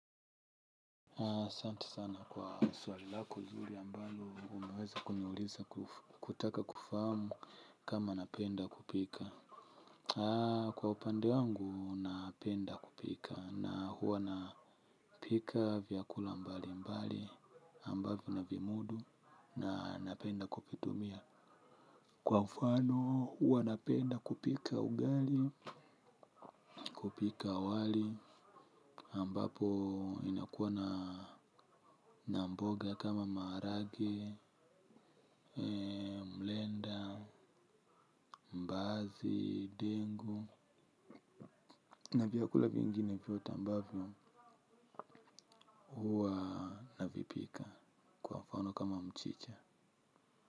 Asante sana kwa swali lako zuri ambalo umeweza kuniuliza kutaka kufahamu kama napenda kupika. Kwa upande wangu napenda kupika na huwa napika vyakula mbali mbali ambavyo navimudu na napenda kuvitumia. Kwa mfano huwa napenda kupika ugali, kupika wali, ambapo inakuwa na na mboga kama maharage, mrenda, mbaazi, dengu. Na vyakula vingine vyote ambavyo huwa navipika kwa mfano kama mchicha.